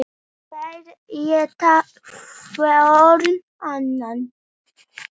Þeir éta hvorn annan.